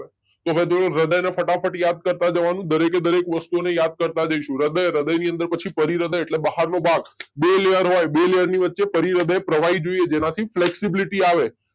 કે ભાઈ હૃદય ને ફટાફટ યાદ કરતા જવાનું દરેકે દરેક વાસુને યાદ કરતા જઈશું. હૃદય હૃદય ની અંદર પછી પરીહૃદય એટલે બહારનું ભાગ. બે લેયર હોય બે લેયરની વચ્ચે પરીહૃદય પ્રવાહી જોઈએ જેનાથી ફ્લેક્ષિબિલિટી આવે